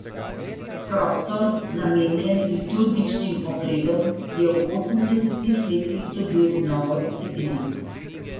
Prostor, namenjen liturgičnim obredom, je v osemdesetih letih dobil novo vsebino.